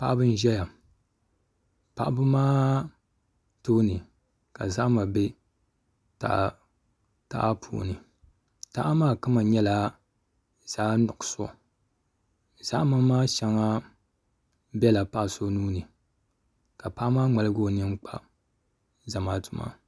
Paɣaba n ʒɛya paɣaba maa tooni ka zahama bɛ taha puuni taha maa kama nyɛla zaɣ nuɣso zahama maa shɛŋa biɛla paɣa so nuuni ka paɣa maa ŋmaligu o nini kpa zamaatu maa